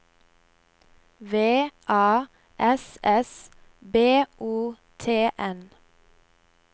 V A S S B O T N